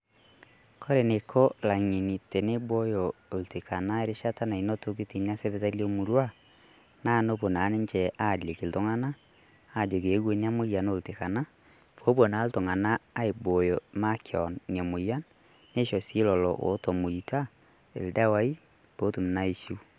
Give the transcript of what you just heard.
Koree neiko ill'angeni teneibooyo oltikana eishata nanotoki teina sipitali emurrua, naa noopo naa ninchee aaliki ltung'ana aajoki eeiwo nia moyian oltikana poopo naa ltung'ana eibooyo makeon nia moyian neisho sii leloo otomoita ldewai pootum naa aishuu.